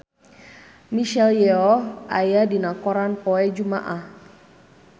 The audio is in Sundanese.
Michelle Yeoh aya dina koran poe Jumaah